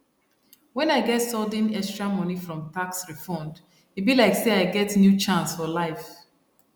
when i get sudden extra money from tax refund e be like say i get new chance for life